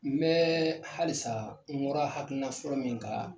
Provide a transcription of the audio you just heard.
N bɛ halisa n bɔra hakilina fɔlɔ min kan